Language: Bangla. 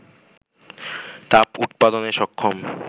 তাপ উৎপাদনে সক্ষম